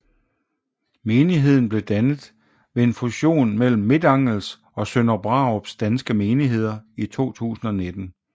Menigheden blev dannet ved en fusion mellem Midtangels og Sønder Brarups danske menigheder i 2019